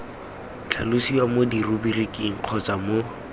tlhalosiwa mo diruburiking kgotsa mo